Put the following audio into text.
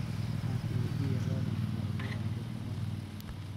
Ankuweydiyex, lo'odha maxa uuku racdey karonka.